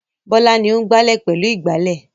Bọ́lá ni ó ń gbálẹ̀ pẹ̀lú ìgbálẹ̀.